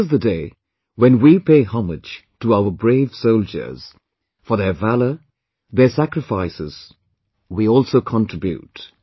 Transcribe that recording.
This is the day when we pay homage to our brave soldiers, for their valour, their sacrifices; we also contribute